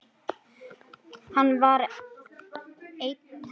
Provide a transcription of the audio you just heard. Hann var einn eftir.